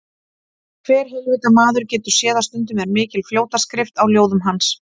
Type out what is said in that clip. Hver heilvita maður getur séð að stundum er mikil fljótaskrift á ljóðum hans.